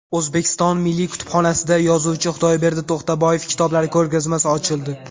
O‘zbekiston Milliy kutubxonasida yozuvchi Xudoyberdi To‘xtaboyev kitoblari ko‘rgazmasi ochildi .